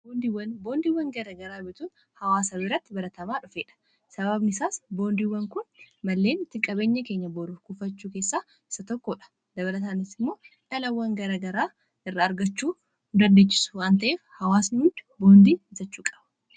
boondiiwwan gara garaa bituun hawaasa birratti baratamaa dhufee dha sababni isaas boondiiwwan kun malleen itti qabeenya keenya boro kufachuu keessaa isa tokkoodha dabalataanis immoo dhalawwan garagaraa irraa argachuu nu dandeessisa waan ta'eef hawaasni hundi boondii bitachuu qaba